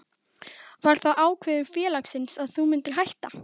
Var það ákvörðun félagsins að þú myndir hætta?